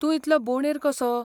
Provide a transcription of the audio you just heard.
तूं इतलो बोंडेर कसो?